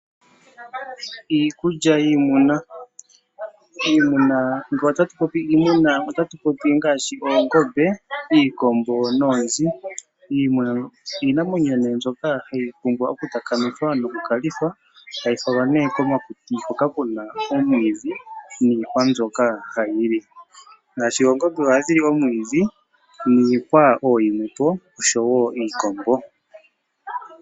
Iikulya yiimuna, ngele ota tu popi iimuna, ota tu popi ngaashi oongombe, iikombo noonzi. Iimuna iinamwenyo mbyoka ha yi pumbwa okutakamithwa no kulithwa, hayifalwa komakuti hoka kuna omwiidhi, niihwa mbyoka ha yili. Oongombe oha dhili omwiidhi, niihwa ooyimwe po, osho woo iikombo.